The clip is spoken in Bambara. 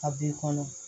A b'i kɔnɔ